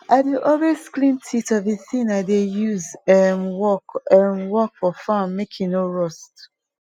i dey always clean teeth of the tin i dey use um work um work for farm make e no rust